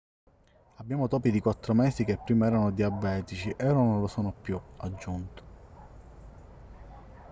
abbiamo topi di quattro mesi che prima erano diabetici e ora non lo sono più ha aggiunto